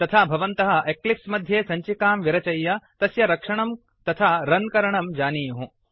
तथा भवन्तः एक्लिप्स् मध्ये सञ्चिकां विरचय्य तस्य रक्षणं तथा रन् करणं जानीयुः